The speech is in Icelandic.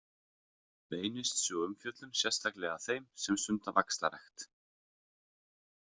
Beinist sú umfjöllun sérstaklega að þeim sem stunda vaxtarrækt.